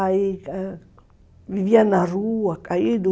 Aí vivia na rua, caído.